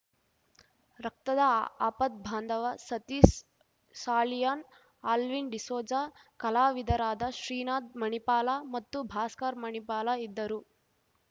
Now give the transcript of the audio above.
ರಕ್ತದ ಆಪತ್ಭಾಂದವ ಸತೀಶ್ ಸಾಲಿಯಾನ್ ಅಲ್ವಿನ್ ಡಿಸೋಜ ಕಲಾವಿದರಾದ ಶ್ರೀನಾಥ್ ಮಣಿಪಾಲ ಮತ್ತು ಭಾಸ್ಕರ್ ಮಣಿಪಾಲ ಇದ್ದರು